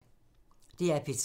DR P3